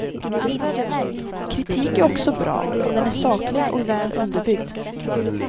Kritik är också bra om den är saklig och väl underbyggd.